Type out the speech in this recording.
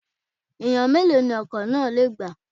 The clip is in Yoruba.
Èèyàn mélòó ni ọkọ̀ náà lè gbà?